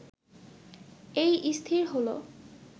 এই স্থির হল